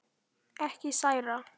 Ekki særa.